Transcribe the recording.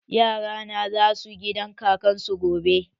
Yara na za su gidan kakar su gobe.